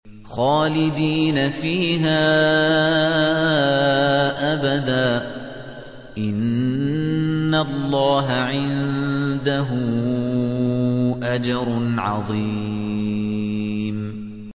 خَالِدِينَ فِيهَا أَبَدًا ۚ إِنَّ اللَّهَ عِندَهُ أَجْرٌ عَظِيمٌ